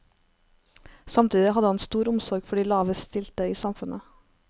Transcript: Samtidig hadde han stor omsorg for de lavest stilte i samfunnet.